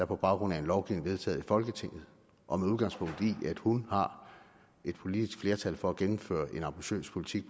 på baggrund af en lovgivning vedtaget af folketinget og med udgangspunkt i at hun har et politisk flertal for at gennemføre en ambitiøs politik